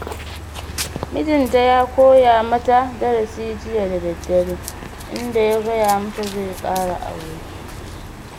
Mijinta ya koya mata darasi jiya da daddare, inda ya gaya mata zai ƙara aure.